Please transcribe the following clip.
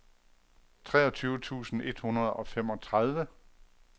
treogtyve tusind et hundrede og femogtredive